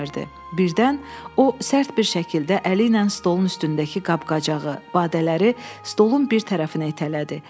Birdən o sərt bir şəkildə əli ilə stolun üstündəki qab-qacağı, badələri stolun bir tərəfinə itələdi.